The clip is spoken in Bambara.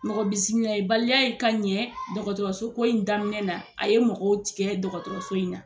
Mɔgɔ bisimilayibaliya in ka ɲɛ dɔgɔtɔrɔsoko in daminɛ na a ye mɔgɔw tigɛ dɔgɔtɔrɔso in na